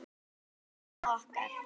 Elsku amman okkar.